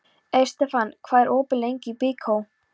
Estefan, hvað er opið lengi í Byko?